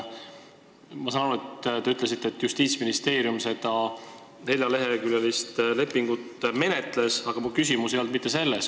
Ma saan aru, et Justiitsministeerium seda neljaleheküljelist lepingut menetles, aga minu küsimus ei olnud mitte selles.